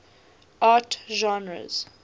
art genres